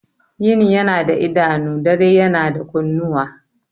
Yini yana da idanu, dare yana da kunnuwa.